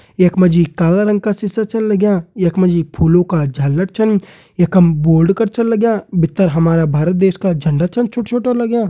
यख मा जी काला रंग का सिसा छन लग्यां यख मा जी फूलों का झालर छन यखम बोर्ड कर छन लग्यां भितर हमारा भारत देश झंडा छन छोटा छोटा लग्यां।